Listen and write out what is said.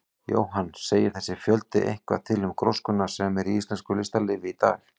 Jóhann: Segir þessi fjöldi eitthvað til um gróskuna sem er í íslensku listalífi í dag?